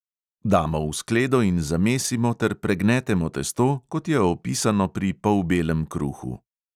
Damo v skledo in zamesimo ter pregnetemo testo, kot je opisano pri polbelem kruhu.